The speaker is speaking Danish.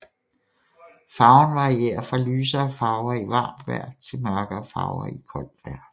Farven varierer fra lysere farver i varmt vejr til mørkere farver i koldt vejr